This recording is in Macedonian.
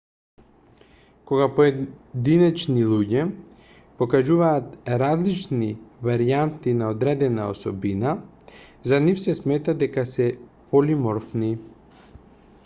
кога поединечни луѓе покажуваат различни варијанти на одредена особина за нив се смета дека се полиморфни